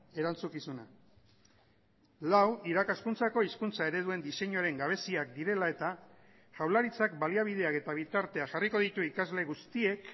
erantzukizuna lau irakaskuntzako hizkuntza ereduen diseinuaren gabeziak direla eta jaurlaritzak baliabideak eta bitartea jarriko ditu ikasle guztiek